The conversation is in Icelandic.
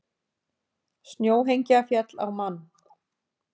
Snjóhengja féll á mann